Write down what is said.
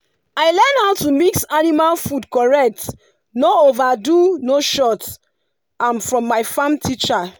i learn how to mix animal food correct no overdo no short am from my farm teacher